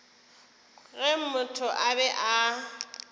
ge motho a be a